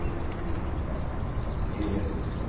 Né, ela sentava assim na cadeira e falava, o senhor.